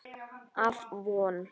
Af Von